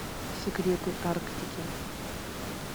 секреты арктики